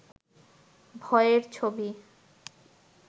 ভয়ের ছবি